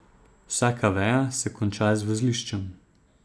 Vsaka veja se konča z vozliščem.